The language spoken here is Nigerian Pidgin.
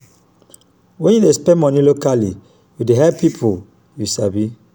wen yu spend money locally yu dey help pipo yu sabi.